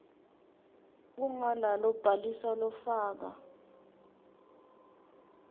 ungala kubhalisa lofaka